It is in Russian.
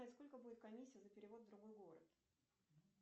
сколько будет комиссия за перевод в другой город